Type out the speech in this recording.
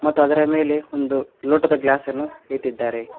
ಮತ್ತು ಅದರ ಮೇಲೆ ಒಂದು ಲೋಟದ ಗ್ಲಾಸನ್ನು ಇಟ್ಟಿದ್ದಾರೆ.